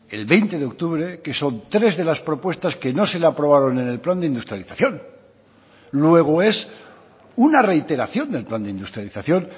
el veinte de octubre que son tres de las propuestas que no se le aprobaron en el plan de industrialización luego es una reiteración del plan de industrialización